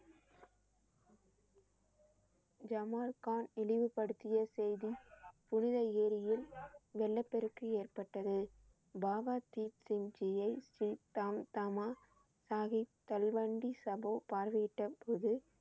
Jamal Khan இழிவுபடுத்திய செய்தி புனித ஏரியில் வெள்ளப் பெருக்கு ஏற்பட்டது. பாபா தீப் சிங் ஜி யை பார்வையிட்டபோது